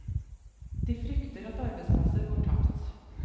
De frykter at arbeidsplasser går tapt.